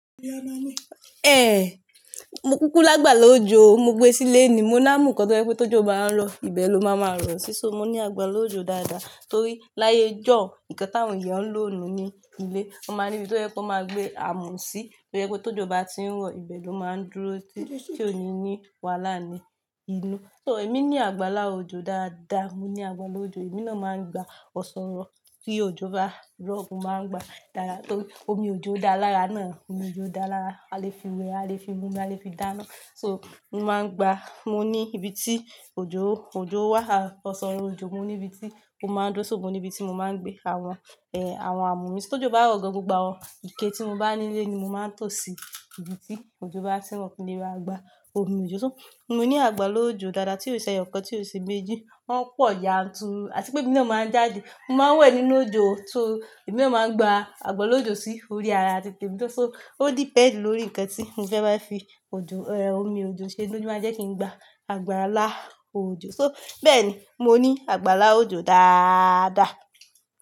Eh mo kúkú lágbàlá òjò mo gbé sílé ni mo ni àmú kan tó jẹ́ pé tójọ ba ń rọ ìbẹ ló máa ma rọ sí, so mo ní àgbàlá òjò dáadáa torí láyé ijọun nǹkan tí àwọn èèyàn ń lò nu ilé wọ́n máa níbí tó jẹ́ pé wọ́n máa gbé amù sí, to je pé tójọ ba tí ń rọ ìbẹ ló máa ń dúró títí tí o ní ni wàhálà ni inú so ẹ̀mí ní àgbàlá òjò dáadáa mo ní àgbàlá òjò ẹ̀mí náà máa ń gba ọ̀ṣọ̀rọ̀ tí òjọ ba rọ̀ máa ń gba dáadáa torí omi òjò dá lára náà omi òjò dá lára a lè fi wẹ a lè fi múmi a lè fi dáná so mo máa ń gba mo ní ibi tí òjò òjò wà ọ̀ṣọ̀rọ̀ òjò mo ní ibi tí ó máa ń dúro ṣo mo ní ibi tí mo máa ń gbé àwọn eh àwọn amù mi tó jọba rọ̀ gan gbogbo àwọn ike tí mo bá nílé ni mo máa ń tò sí ibi tí òjọ ba ti ń rọ̀ kí n lè ra gba omi òjò so mo ní àgbàlá òjò dáadáa tí ò ṣe éyọ̀kan tí ò ṣe méjì wọn pọ̀ yanturu àti pé èmi náà máa ń jáde mo máa ń wẹ̀ nínú òjò so ẹ̀mí náà máa ń gba àgbàlá òjò sí orí ara titèmi, so ò depend lórí nǹkan tí mo fẹ́ bá fi òjò eh omi òjò ṣe, oun lo máa jẹ́ kí n gba àgbàlá òjò so bẹ́ẹ̀ ni mo ní àgbàlá òjò dáadáa.